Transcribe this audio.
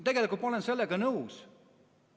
Tegelikult ma olen sellega nõus.